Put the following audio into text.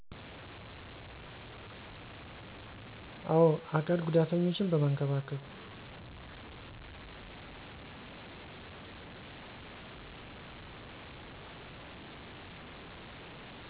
አወ። አካል ጉዳተኞችን በመንከባከብ